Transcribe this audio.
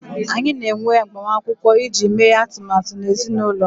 anyị na-enwe agbamakwụkwọ iji mee atụmatụ na ezinụlọ m